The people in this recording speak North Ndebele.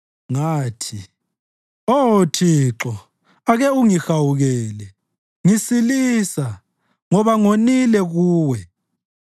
Ngathi, “Oh Thixo ake ungihawukele; ngisilisa, ngoba ngonile kuwe.”